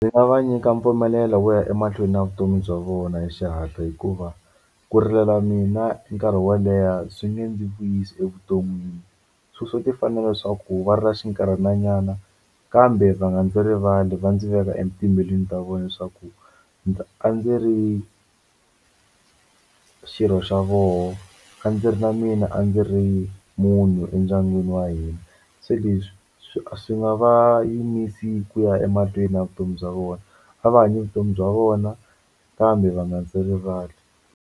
Ndzi nga va nyika mpfumelelo wo ya emahlweni na vutomi bya vona hi xihatla hikuva ku rilela mina nkarhi wo leha swi nge ndzi vuyisi evuton'wini swo swo ti fanela swa ku va rila xinkarhana nyana kambe va nga ndzi rivali va ndzi veka etimbilwini ta vona leswaku a ndzi ri xirho xa voho a ndzi ri na mina a ndzi ri munhu endyangwini wa hina se leswi swi swi nga va yimisi ku ya emahlweni na vutomi bya vona a va hanyi vutomi bya vona kambe va nga ndzi rivali.